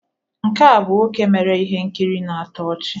Nke a bụ nwoke mere ihe nkiri na-atọ ọchị